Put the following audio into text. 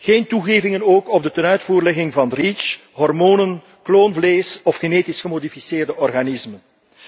Geen toegevingen ook op de tenuitvoerlegging van REACH, hormonen, kloonvlees of genetisch gemodificeerde organismen.